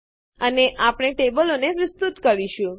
અને આપણે ટેબલોને વિસ્તૃત કરશું